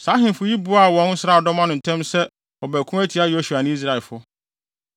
Saa ahemfo yi boaa wɔn nsraadɔm ano ntɛm so sɛ wɔbɛko atia Yosua ne Israelfo.